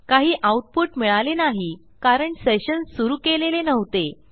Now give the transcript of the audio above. काही आऊटपुट मिळाले नाही कारण सेशन सुरू केलेले नव्हते